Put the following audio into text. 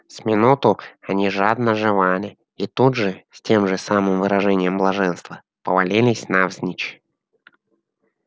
с минуту они жадно жевали и тут же с тем же самым выражением блаженства повалились навзничь